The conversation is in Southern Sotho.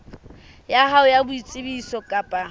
ya hao ya boitsebiso kapa